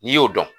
N'i y'o dɔn